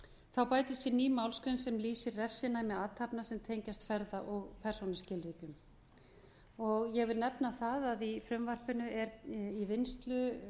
þá bætist við ný málsgrein sem lýsir refsinæmi athafna sem tengjast ferða og persónuskilríkjum ég vil nefna það að í frumvarpinu er í vinnslu